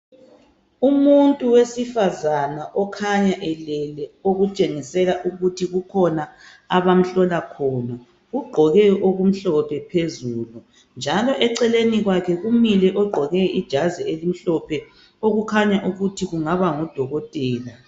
Umuntu wesifazana okhanya elele okutshengisela ukuthi kukhona abamhlola khona ugqoke okumhlophe phezulu njalo eceleni kwakhe kumile ogqoke ijazi elimhlophe kukhanya ukuthi kungaba ngudokotela